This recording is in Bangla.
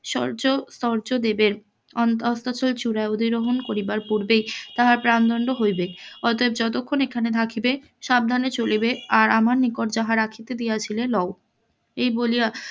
শৌর্য শৌর্য দিবেন, অন্ত অস্তাচল চুড়ায় অধিগ্রহন করিবার পুর্বেই তাহার প্রাণ দন্ড হইবে অতএব যতক্ষণ এখানে থাকিবে সাবধানে চলিবে আর আমার নিকট যাহা রাখিতে দিয়াছিলে লও এই বলিয়া,